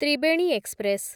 Tribeni express